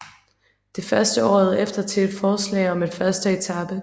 Det førte året efter til et forslag om en første etape